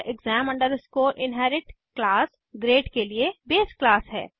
और exam inherit class grade के लिए बेस क्लास है